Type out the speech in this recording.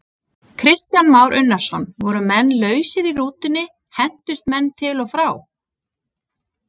Kristján Már Unnarsson: Voru menn lausir í rútunni, hentust menn til og frá?